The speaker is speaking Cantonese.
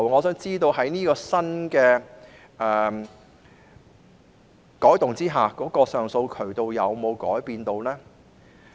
在作出新的改動後，以往的上訴渠道有否改變？